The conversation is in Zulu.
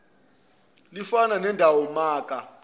lifana nelendawo maka